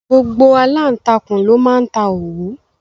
Gbogbo aláǹtakùn ló máa ń ta òwú.